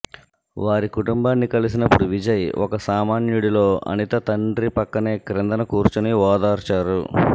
వారి కుటుంబాన్ని కలిసినపుడు విజయ్ ఒక సామాన్యుడిలో అనిత తండ్రి పక్కనే క్రిందన కూర్చొని ఓదార్చారు